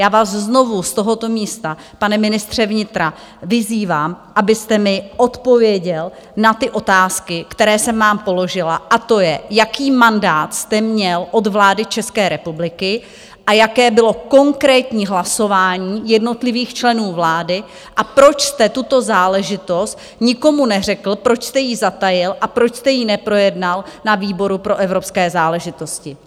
Já vás znovu z tohoto místa, pane ministře vnitra, vyzývám, abyste mi odpověděl na ty otázky, které jsem vám položila, a to je, jaký mandát jste měl od vlády České republiky a jaké bylo konkrétní hlasování jednotlivých členů vlády a proč jste tuto záležitost nikomu neřekl, proč jste ji zatajil a proč jste ji neprojednal na výboru pro evropské záležitosti.